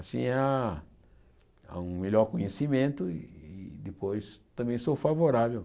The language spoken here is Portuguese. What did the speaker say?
Assim há há um melhor conhecimento e depois também sou favorável.